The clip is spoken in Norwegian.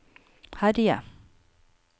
herje